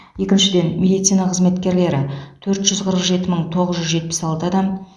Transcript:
екіншіден медицина қызметкерлері төрт жүз қырық жеті мың тоғыз жүз жетпіс алты адам